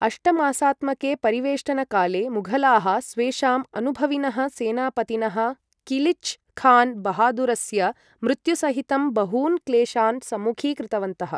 अष्टमासात्मके परिवेष्टनकाले, मुघलाः स्वेषाम् अनुभविनः सेनापतिनः किलिच् खान् बहादुरस्य मृत्युसहितं बहून् क्लेशान् सम्मुखीकृतवन्तः।